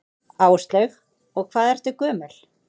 Áslaug: Og hvað ertu gömul?